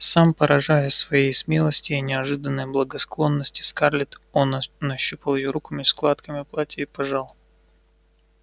сам поражаясь своей смелости и неожиданной благосклонности скарлетт он нащупал её меж складками платья и пожал